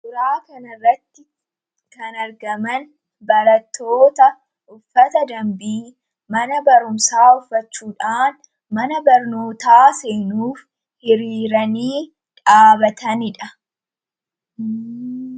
Suuraa kana irratti kan argaman barattoota uffata dambii mana barumsaa uffachuudhaan mana barnootaa seenuuf hiriiranii dhaabataniidha.